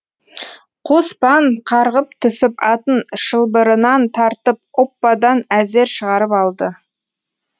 қоспан қарғып түсіп атын шылбырынан тартып оппадан әзер шығарып алды